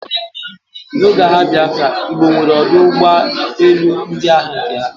n'oge agha Biafra, Igbo nwere ọdụ ụgbọ elu ndị agha nke ha